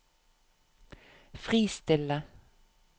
fristille